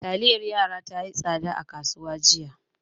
Taliyar yara tayi tsada a kasuwa jiya